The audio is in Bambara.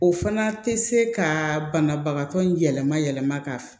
O fana tɛ se ka banabagatɔ in yɛlɛma yɛlɛma ka